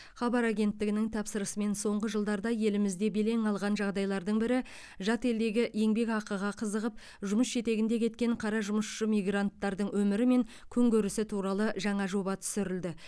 хабар агенттігінің тапсырысымен соңғы жылдарда елімізде белең алған жағдайлардың бірі жат елдегі еңбекақыға қызығып жұмыс жетегінде кеткен қара жұмысшы мигранттардың өмірі мен күнкөрісі туралы жаңа жоба түсірілді